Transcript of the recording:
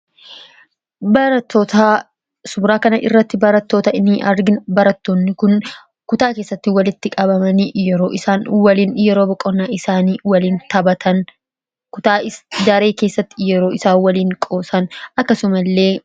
Suuraa kana irratti barattoota argina. Issaanis kutaa keessatti walitti qabamanii yeroo boqonnaa isaanii taphatanii qoosan ni argina.